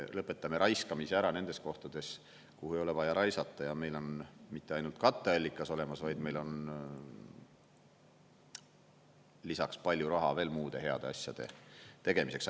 Lõpetame raiskamise ära nendes kohtades, kuhu ei ole vaja raisata, ja meil on mitte ainult katteallikas olemas, vaid meil on lisaks palju raha veel muude heade asjade tegemiseks.